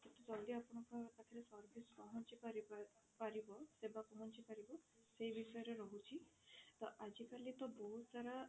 ଜଲ୍ଦି ଆପଣଙ୍କ ପାଖରେ service ପହଞ୍ଚି ପାରି ପାରିବ ସେବା ପହଞ୍ଚି ପାରିବ ସେ ବିଷୟରେ ରହୁଛି ତ ଆଜି କାଲି ତ ବହୁତ ସାରା